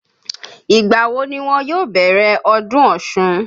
Ìgbà wo ni wọn yóò bẹ̀rẹ̀ ọdún Ọ̀ṣun?